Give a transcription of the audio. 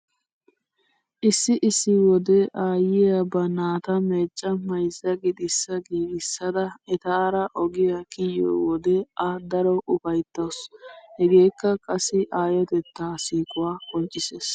Issi issi wode aayyiya ba naata meecca mayzza gixissaa giigissada etaara ogiya kiyiyo wode a daro ufayttawusu. Hegeekka qassi aayotettaa siiquwa qonccissees.